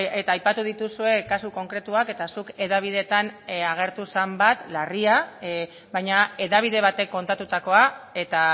eta aipatu dituzue kasu konkretuak eta zuk hedabideetan agertu zen bat larria baina hedabide batek kontatutakoa eta